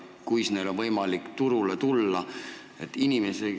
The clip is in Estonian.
Kuidas neil on võimalik turule tulla?